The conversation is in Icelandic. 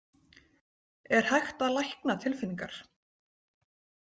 Er hægt að lækna tilfinningar?